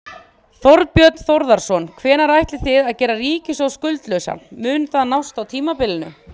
Þorbjörn Þórðarson: Hvenær ætlið þið að gera ríkissjóð skuldlausan, mun það nást á tímabilinu?